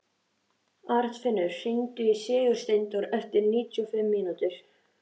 Arnfinnur, hringdu í Sigursteindór eftir níutíu og fimm mínútur.